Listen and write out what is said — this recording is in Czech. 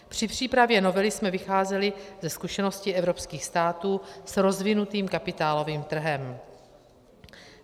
Při přípravě novely jsme vycházeli ze zkušeností evropských států s rozvinutým kapitálovým trhem.